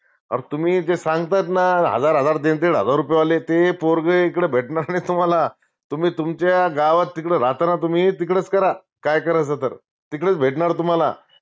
आता तुम्ही जे सांगतात ना हजार हजार दीड दीड हजार रुपये वाले ते पोरग इकडे भेटणार तुम्हाला तुम्ही तुमच्या गावात तिकडं राहता ना तुम्ही तिकडचं करा काय करायचं तर तिकडचं भेटनार तुम्हाला